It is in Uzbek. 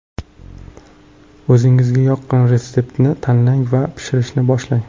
O‘zingizga yoqqan retseptni tanlang va pishirishni boshlang!